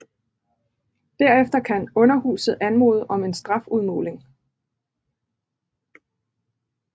Derefter kan underhuset anmode om en strafudmåling